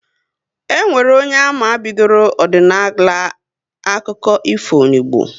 E nwere onye ama bidoro ọdịnala akụkọ ifo n'Igbo